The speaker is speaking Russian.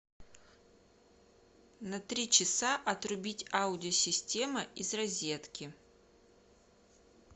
на три часа отрубить аудио система из розетки